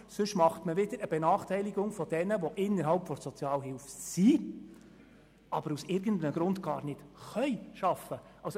Sonst benachteiligt man wieder jene, welche innerhalb der Sozialhilfe sind, aber aus irgendeinem Grund einfach nicht arbeiten können.